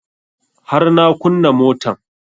Har na kunna motan